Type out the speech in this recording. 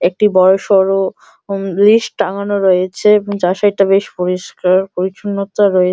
একটি বড় সড়ো লিস্ট টাঙানো রয়েছে যার সাইড টা বেশ পরিষ্কার পরিচ্ছন্নতা রয়ে--